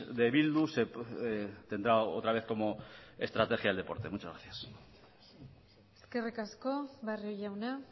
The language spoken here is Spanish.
de bildu tendrá otra vez como estrategia el deporte muchas gracias eskerrik asko barrio jauna